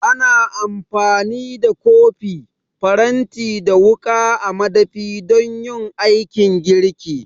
Ana amfani da kofi, faranti da wuƙa a madafi don yin aikin girki